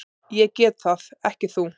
Ég get það, ekki þú.